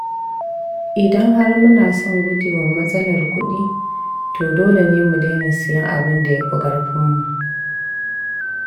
Idan har muna son guje wa matsalar kudi, dole ne mu daina sayen abin da ya fi ƙarfinmu.